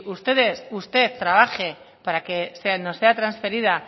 usted trabaje para que se nos sea transferida